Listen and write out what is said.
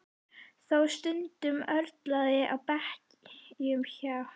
Þó stundum örlaði á beiskju hjá